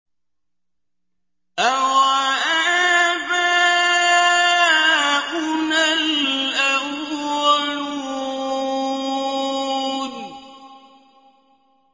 أَوَآبَاؤُنَا الْأَوَّلُونَ